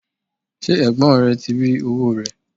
ṣé ẹ̀gbọ́n rẹ ti rí owó rẹ̀?